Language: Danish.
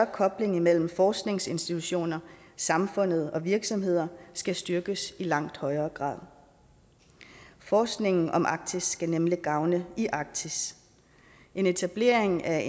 koblingen mellem forskningsinstitutioner samfundet og virksomheder skal styrkes i langt højere grad forskningen om arktis skal nemlig gavne i arktis en etablering af